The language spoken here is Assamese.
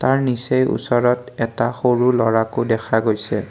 তাৰ নিচেই ওচৰত এটা সৰু ল'ৰাকো দেখা গৈছে।